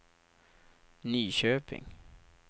Nyköping